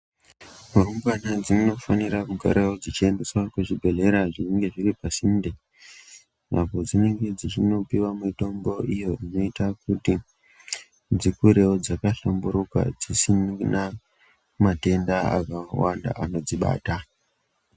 Rumbwana dzinofanira kugarawo dzichiendeswa kuzvibhehlera zvinenge zviri pasinde apo dzinenge dzichinopiwa mitombo iyo inoita kuti dzikurewo dzakahlamburuka dzisina matenda akawanda anodzibata.